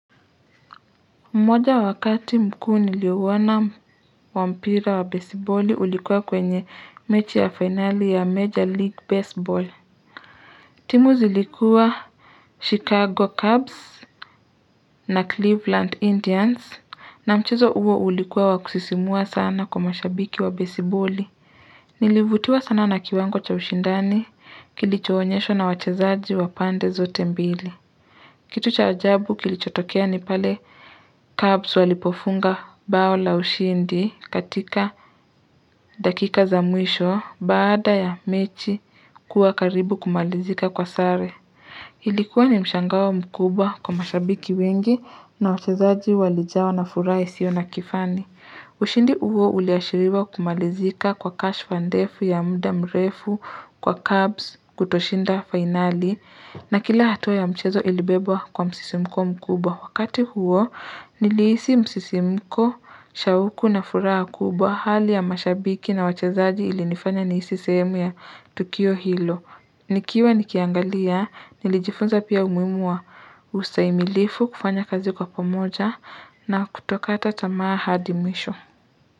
Mmoja wakati mkuu niliuona wa mpira wa baseballi ulikuwa kwenye mechi ya fainali ya Major League Baseball. Timu zilikuwa Chicago Cubs na Cleveland Indians na mchezo huo ulikuwa wa kusisimua sana kwa mashabiki wa baseballi. Nilivutiwa sana na kiwango cha ushindani kilichoonyeshwa na wachezaji wa pande zote mbili. Kitu cha ajabu kilichotokea ni pale kabs walipofunga bao la ushindi katika dakika za mwisho baada ya mechi kuwa karibu kumalizika kwa sare. Ilikuwa ni mshangao mkubwa kwa mashabiki wengi na wachezaji walijawa na furaha isiyo na kifani. Ushindi huo uliashiriwa kumalizika kwa kashfa ndefu ya muda mrefu kwa carbs kutoshinda fainali na kila hatua ya mchezo ilibebwa kwa msisimko mkubwa. Wakati huo nilihisi msisimko, shauku na furaha mkubwa hali ya mashabiki na wachezaji ilinifanya nihisi sehemu ya tukio hilo. Nikiwa nikiangalia, nilijifunza pia umuhimu wa ustahimilifu kufanya kazi kwa pamoja na kutokata tamaa hadi mwisho.